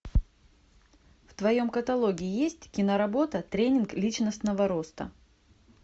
в твоем каталоге есть киноработа тренинг личностного роста